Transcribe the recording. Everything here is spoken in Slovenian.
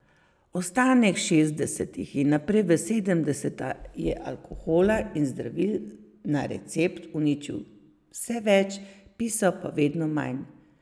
Ostanek šestdesetih in naprej v sedemdeseta je alkohola in zdravil na recept uničil vse več, pisal pa vedno manj.